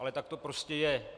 Ale tak to prostě je.